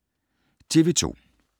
TV 2